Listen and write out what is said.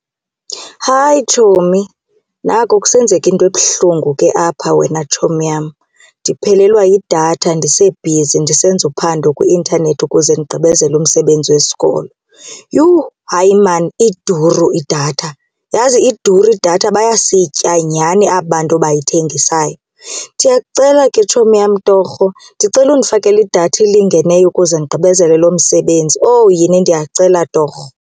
Hi, tshomi! Naku kusenzeka into ebuhlungu ke apha wena tshomi yam. Ndiphelelwa yidatha ndisebhizi ndisenza uphando kwi-intanethi ukuze ndigqibezele umsebenzi wesikolo. Yhu! Hayi, maan iduru idatha, yazi iduru idatha! Bayasitya nyhani aba bantu abayithengisayo. Ndiyakucela ke tshomi yam torho, ndicela undifakele idatha elingeneyo ukuze ndigqibezele loo msebenzi. Owu yini, ndiyakucela torho!